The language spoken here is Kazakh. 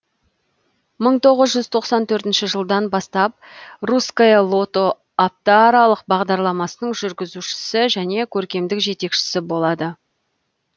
мың тоғыз жүз тоқсан төртіншіжылдан бастап русское лото апта аралық бағдарламасының жүргізушісі және көркемдік жетекшісі болады